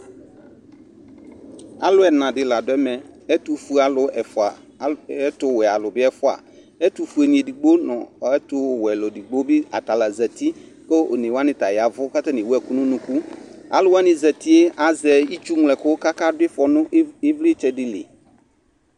Alu ɛna la do ɛmɛƐtofue alu ɛfua, a ɛtowɛ alu be ɛfua Ɛtofue ne edigbo no ɛtowɛ alu edigbo be ata la zati ko one wane ta yavu ko atane ewu ɛku no unuku Alu wane zatie azɛ itsu ñlo ɛku kaka do ifɔ no i, evletsɛ de li